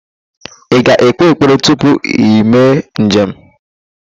Ị ga-ekpe ekpere tupu ime njem?